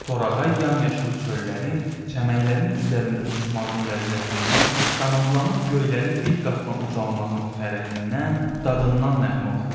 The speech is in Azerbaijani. Torağay yamyaşıl çöllərin, çəmənlərin üzərində uçmağın ləzzətindən, qanadlanıb göylərin bir qatına ucalmağın fərəhindən, dadından nəğmə oxuyurdu.